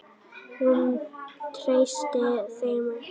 Hún treysti þeim ekki.